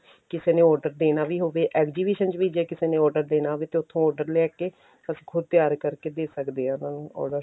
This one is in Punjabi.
ਕਿਸੇ ਨੇ order ਦੇਣਾ ਵੀ ਹੋਵੇ exhibition ਚ ਵੀ ਜੇ ਕਿਸੇ ਨੇ order ਦੇਣਾ ਹੋਵੇ ਤੇ ਉੱਥੋਂ order ਲੈਕੇ ਅਸੀਂ ਖੁਦ ਤਿਆਰ ਕਰਕੇ ਦੇ ਸਕਦੇ ਆਂ order